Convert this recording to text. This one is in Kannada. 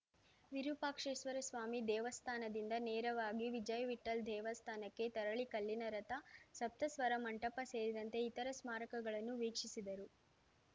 ವಿರೂಪಾಕ್ಷೇಶ್ವರಸ್ವಾಮಿ ದೇವಸ್ಥಾನದಿಂದ ನೇರವಾಗಿ ವಿಜಯವಿಠ್ಹಲ್‌ ದೇವಸ್ಥಾನಕ್ಕೆ ತೆರಳಿ ಕಲ್ಲಿನ ರಥ ಸಪ್ತಸ್ವರ ಮಂಟಪ ಸೇರಿದಂತೆ ಇತರೆ ಸ್ಮಾರಕಗಳನ್ನು ವೀಕ್ಷಿಸಿದರು